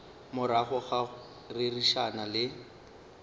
morago ga go rerišana le